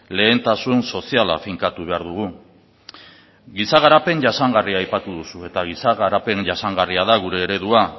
lehentasun soziala finkatu behar dugu giza garapen jasangarria aipatu duzu eta giza garapen jasangarria da gure eredua